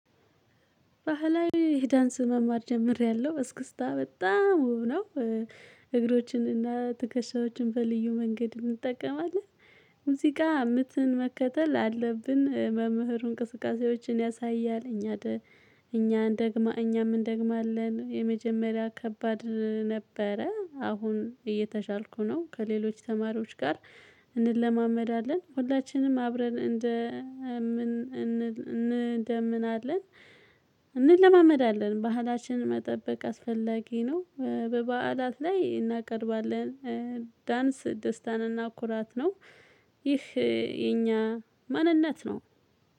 ባህላዊ ዳንስ መማር ጀምሬያለሁ እስክስታ በጣም ውብ ነው እግሮችን እና ትከሻዎችን በልዩ መንገድ እንጠቀማለን ሙዚቃ ምትን መከተል አለብን፤ መምህሩ እንቅስቃሴዎችን ያሳያል እኛ እኛም እንደግማለን የመጀመሪያ ከባድ ነበረ አሁን እየተሻልኩ ነው ከሌሎች ተማሪዎች ጋር እንለማመዳለን ሁላችንም አብረን እንደ ምን እንለማመዳለን ባህላችንን መጠበቅ አስፈላጊ ነው በበዓላት ላይ እናቀርባለን ዳንስ ደስታን እና ኩራት ነው ይህ የኛ ማንነት ነው።